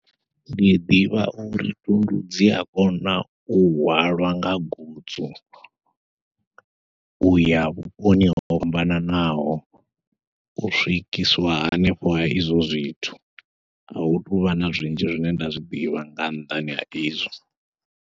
Ndi ḓivha uri thundu dzia kona u hwalwa nga gutsu uya vhuponi ho fhambananaho, u swikiswa hanefho ha izwo zwithu ahu tuvha na zwinzhi zwine nda zwiḓivha nga nnḓani ha izwo.